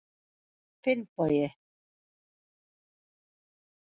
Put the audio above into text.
Finnbogi